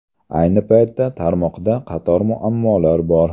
Ayni paytda, tarmoqda qator muammolar bor.